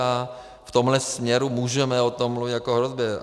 A v tomhle směru můžeme o tom mluvit jako o hrozbě.